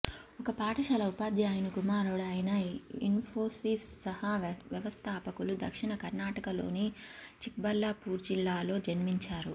ఒక పాఠశాల ఉపాధ్యాయుని కుమారుడు అయిన ఇన్ఫోసిస్ సహ వ్యవస్థాకులు దక్షిణ కర్ణాటకలోని చిక్బళ్లాపూర్జిల్లాలో జన్మించారు